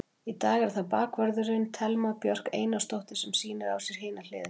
Í dag er það bakvörðurinn, Thelma Björk Einarsdóttir sem sýnir á sér hina hliðina.